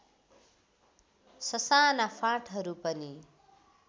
ससाना फाँटहरू पनि